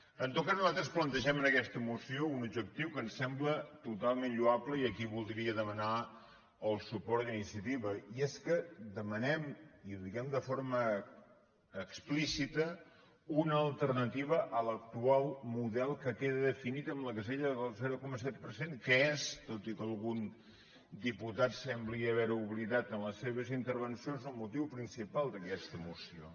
en tot cas nosaltres plantegem en aquesta moció un objectiu que ens sembla totalment lloable i aquí vol·dria demanar el suport d’iniciativa i és que demanem i ho diem de forma explícita una alternativa a l’actual model que queda definit en la casella del zero coma set per cent que és tot i que algun diputat sembla haver·ho oblidat en les seves intervencions el motiu principal d’aques·ta moció